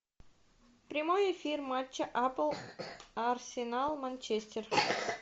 прямой эфир матча апл арсенал манчестер